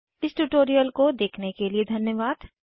इस ट्यूटोरियल को देखने के लिए धन्यवाद